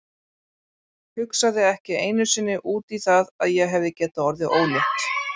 Hugsaði ekki einu sinni út í það að ég hefði getað orðið ólétt.